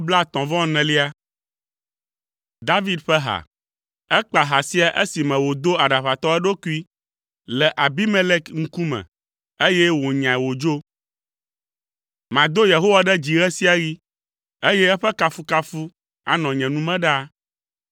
David ƒe ha. Ekpa ha sia esime wòdo aɖaʋatɔ eɖokui le Abimelek ŋkume, eye wònyae wòdzo. Mado Yehowa ɖe dzi ɣe sia ɣi; eye eƒe kafukafu anɔ nye nu me ɖaa.